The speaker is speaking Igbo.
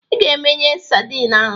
Ị ga-emeye sadin ahụ